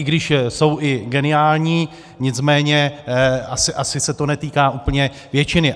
I když jsou i geniální, nicméně asi se to netýká úplně většiny.